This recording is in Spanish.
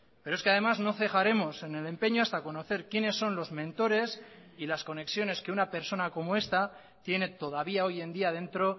pero es que además no cejaremos en el empeño hasta conocer quiénes son los mentores y las conexiones que una persona como esta tiene todavía hoy en día dentro